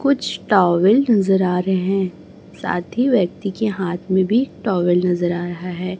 कुछ टॉवेल नजर आ रहे हैं साथ ही व्यक्ति के हाथ में भी टॉवेल नजर आ रहा है।